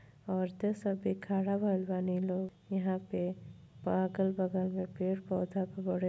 औरतें सब खड़ा भइले बनी लो यहां पे और अगल-बगल में पेड़ पौधा खूब बढ़िया --